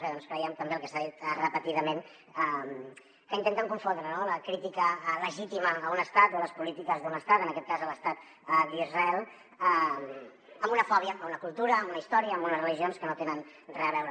bé doncs creiem també el que s’ha dit repetidament que intenten confondre no la crítica legítima a un estat o a les polítiques d’un estat en aquest cas a l’estat d’israel amb una fòbia a una cultura amb una història amb unes religions que no hi tenen res a veure